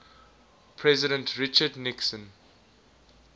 president richard nixon